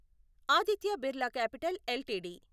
Aditya Birla capital LTD